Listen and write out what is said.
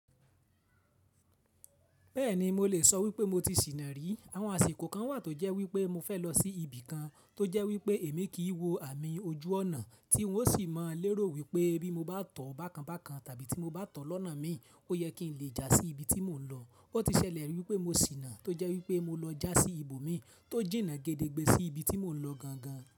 Bẹ́ẹ̀ni mo lè sọ wípé mo ti ṣìnà rí. Àwọn àsìkò kan wà tó jẹ́ wípé mo fẹ́ lọ sí ibì kan tó jẹ́ wípé èmi kì í wo àmì ojú ọ̀nà tí ń ó sì má lérò wípé bí mo bá tọ̀ ọ́ bákan bákan tàbí tí mo bá tọ̀ ọ́n lọ́nà mi, ó yẹ kí n lè jà sí ibi tí mò ń lọ. Ó ti ṣẹlẹ̀ wípé mo ṣìnà tó jẹ́ wípé mo lọ já sí ibòmí tó jìnnà gẹ́dẹ́gbẹ́ sí ibi tí mò ń lọ gangan.